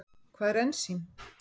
Hvað er ensím?